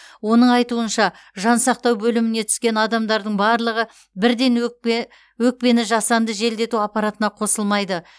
оның айтуынша жансақтау бөліміне түскен адамдардың барлығы бірден өкпені жасанды желдету аппаратына қосылмайды